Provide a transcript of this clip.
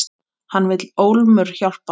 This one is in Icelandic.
Hann vill ólmur hjálpa.